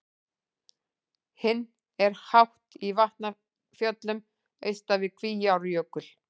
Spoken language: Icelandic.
Hinn er hátt í Vatnafjöllum austan við Kvíárjökul.